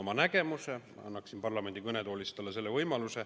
Ma annaksin talle võimaluse teha seda parlamendi kõnetoolis.